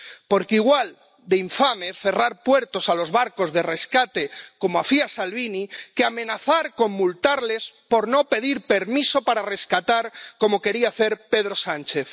Porque igual de infame es cerrar puertos a los barcos de rescate —como hacía Salvini— que amenazar con multarles por no pedir permiso para rescatar —como quería hacer Pedro Sánchez—.